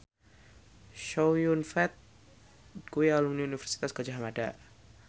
Chow Yun Fat kuwi alumni Universitas Gadjah Mada